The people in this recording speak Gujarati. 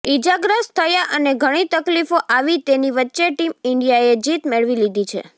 ઇજાગ્રસ્ત થયા અને ઘણી તકલીફો આવી તેની વચ્ચે ટીમ ઇન્ડિયાએ જીત મેળવી લીધી છે